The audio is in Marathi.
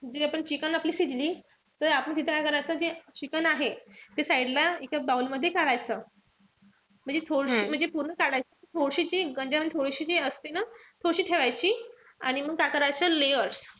तर chicken आपली शिजली. त आपण तिथं काय करायचं जे chicken आहे, ते side ला एका bowl मध्ये काढायचं. म्हणजे थोडीशी पूर्ण काढायची म्हणजे थोडीशी ती मध्ये थोडीशी ती असते ना. थोडीशी ठेवायची. आणि मग काय करायचं layers.